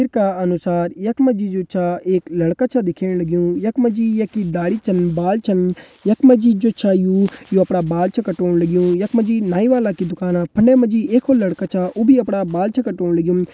चित्र का अनुसार यख मा जी जू छा एक लड़का छ दिखेण लग्युं यख मा जी येकि दाढ़ी छन बाल छन यख मा जी जो छ यू ये अपरा बाल छन कटोण लग्युं। यख मा जी नाईं वाला की दुकाना फंडे मा जी एक और लड़का छ उ भी अपड़ा बाल छन कटोण लग्युं।